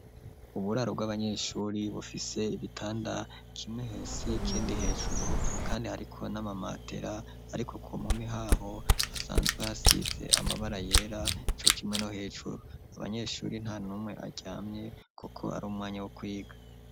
Uburaro bw'abanyeshure bufise ibitanda, kimwe hasi ikindi hejuru, kandi hariko n'ama matera, ariko ku mpomi haho hasanzwe hasize amabara yera cokimwe no hejuru. Abanyeshure nta numwe aryamye kuko ari umwanya wo kwiga.